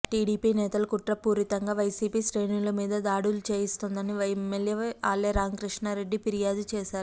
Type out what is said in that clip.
TDP నేతలు కుట్ర పూరితంగా వైసీపీ శ్రేణుల మీద దాడులు చేయిస్తోందని ఎమ్మెల్యే ఆళ్ల రామకృష్ణారెడ్డి ఫిర్యాదు చేసారు